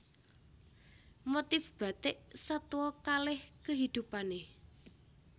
Motif Bathik Satwa kaleh kehidupanne